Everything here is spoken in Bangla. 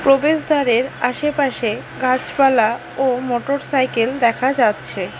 প্রবেশদ্বারের আশেপাশে গাছপালা ও মোটরসাইকেল দেখা যাচ্ছে।